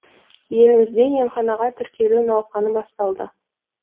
елімізде емханаға тіркелу науқаны басталды